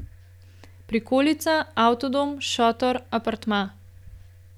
Prikolica, avtodom, šotor, apartma.